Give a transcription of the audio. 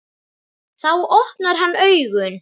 Þá opnar hann augun.